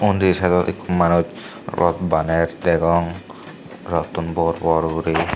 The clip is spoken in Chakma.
undi side ot ekku manuj rot baner degong rottun bor bor guri.